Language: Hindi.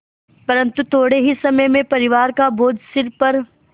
परन्तु थोडे़ ही समय में परिवार का बोझ सिर पर